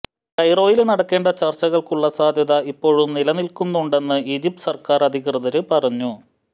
കൈറോയില് നടക്കേണ്ട ചര്ച്ചകള്ക്കുള്ള സാധ്യത ഇപ്പോഴും നിലനില്ക്കുന്നുണ്ടെന്ന് ഈജിപ്ത് സര്ക്കാര് അധികൃതര് പറഞ്ഞു